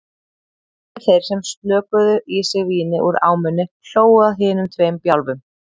Aðrir þeir sem slokuðu í sig víni úr ámunni hlógu að hinum tveim bjálfum.